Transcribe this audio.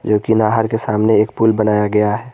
जो कि नहर के सामने एक पूल बनाया गया है।